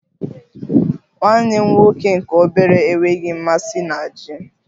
Nwanne m nwoke nke obere enweghị mmasị na Ji